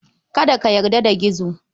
Kada ka yarda da Gizo.